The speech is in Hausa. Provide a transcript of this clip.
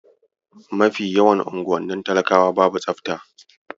Mafi yawan unguwannin talakawa babu tsafta.